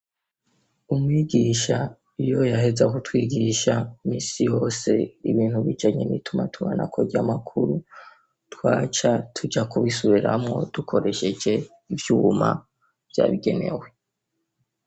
Umwigisha iyo yaheza Ku twigisha misi yose ibintu bijanye nitumatumanako rya amakuru, twaca tuja kubisubiramwo dukoresheje ivyuma vyabigenewe.